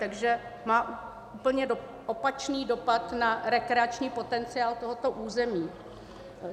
Takže má úplně opačný dopad na rekreační potenciál tohoto území.